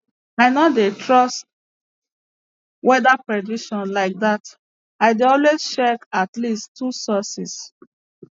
i no dey trust weather prediction like that i dey always check at least two sources